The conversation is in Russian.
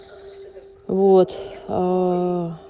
вот